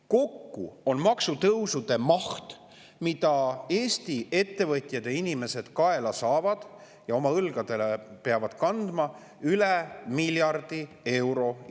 Kokku on nende maksutõusude maht, mille Eesti ettevõtjad ja inimesed järgmisel aastal kaela saavad ja mida oma õlgadel peavad kandma, üle miljardi euro.